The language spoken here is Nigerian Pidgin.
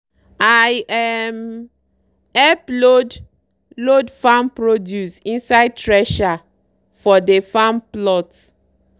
i um help load load farm produce inside thresher for dey farm plot.